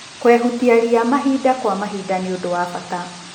Kwehutia ria mahinda kwa mahinda nĩ ũndũ wa bata.